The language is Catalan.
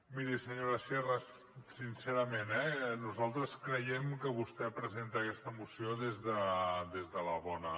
miri senyora sierra sincerament eh nosaltres creiem que vostè presenta aquesta moció des de la bona